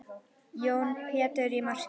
Jón Pétur í markið!